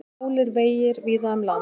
Hálir vegir víða um land